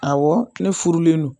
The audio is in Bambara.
Awɔ ne furulen non